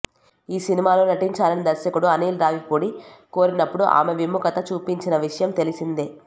ఈ సినిమాలో నటించాలని దర్శకుడు అనిల్ రావిపూడి కోరినప్పుడు ఆమె విముఖత చూపించిన విషయం తెలిసిందే